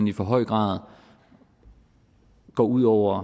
i for høj grad går ud over